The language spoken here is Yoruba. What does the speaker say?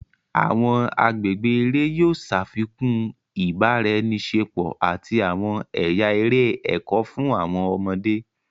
Awọn agbègbè eré yóò ṣafikun ibaraẹniṣepo àti awọn ẹya eré ẹkọ fún awọn ọmọde.